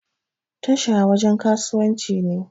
Tasha wajan kasuwanci ne